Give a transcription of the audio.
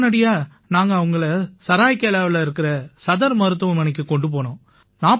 உடனடியா நாங்க அவங்களை சராயிகேலாவில இருக்கற சதர் மருத்துவமனைக்குக் கொண்டு போனோம்